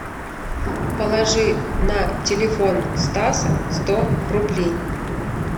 положи на телефон стаса сто рублей